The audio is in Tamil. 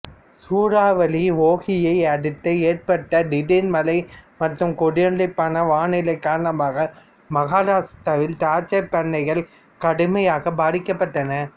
சூறாவளி ஒகியை அடுத்து ஏற்பட்ட திடீர் மழை மற்றும் கொந்தளிப்பான வானிலை காரணமாக மஹாராஷ்டிராவில் திராட்சை பண்ணைகள் கடுமையாக பாதிக்கப்பட்டன